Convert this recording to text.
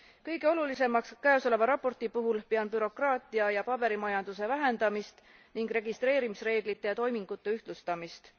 Kõige olulisemaks käesoleva raporti puhul pean bürokraatia ja paberimajanduse vähendamist ning registreerimisreeglite ja toimingute ühtlustamist.